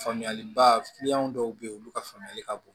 Faamuyaliba dɔw bɛ ye olu ka faamuyali ka bon